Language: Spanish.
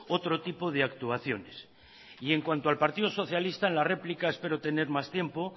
otro tipo de actuaciones en cuanto al partido socialista en la réplica espero tener más tiempo